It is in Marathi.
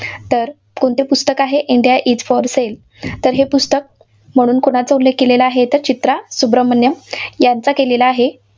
तर कोणते पुस्तक आहे, इंडिया इज फॉर सेल. तर हे पुस्तक उल्लेख केलेला आहे, तर चित्रा सुब्रमण्यम यांचा केलेला आहे.